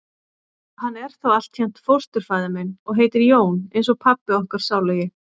Hann er þó altént fósturfaðir minn. og heitir Jón eins og pabbi okkar sálugi.